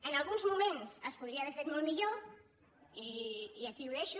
en alguns moments es podia haver fet molt millor i aquí ho deixo